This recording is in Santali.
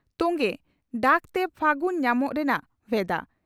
ᱛᱚᱝᱜᱮ ᱹᱹᱹᱹᱹᱹᱹ ᱰᱟᱠᱛᱮ ᱯᱷᱟᱹᱜᱩᱱ ᱧᱟᱢᱚᱜ ᱨᱮᱱᱟᱜ ᱵᱷᱮᱫᱟ